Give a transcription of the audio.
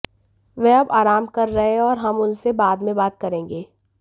वह अब आराम कर रहे हैं और हम उनसे बाद में बात करेंगे